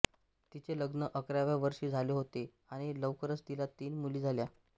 तिचे लग्न अकराव्या वर्षी झाले होते आणि लवकरच तिला तीन मुली झाल्या